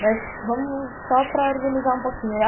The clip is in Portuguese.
Mas vamos só para organizar um pouquinho.